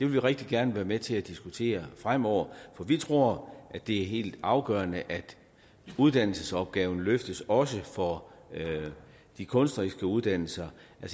vi rigtig gerne være med til at diskutere fremover for vi tror at det er helt afgørende at uddannelsesopgaven løftes også for de kunstneriske uddannelser